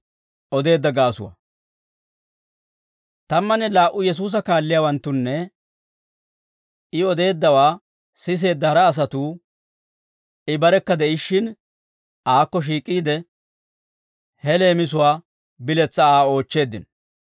Tammanne laa"u Yesuusa kaalliyaawanttunne I odeeddawaa siseedda hara asatuu I barekka de'ishshin aakko shiik'iide, he leemisuwaa biletsaa Aa oochcheeddino.